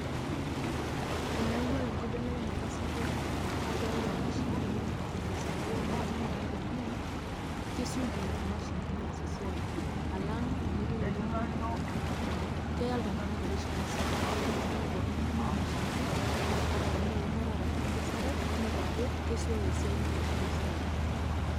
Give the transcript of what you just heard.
eyawua enkibelekenyata sapuk esiai, oomashini tenkesare weunoto edaa amu kesioki, imashini aas esiai alang enpik iltunganak emukunta, keya iltunganak erishata sapuk. kake ore enakata nintumia mashinini ata tenaa eunore ashu enkasera, naa idol ajo kesiooyo esiai.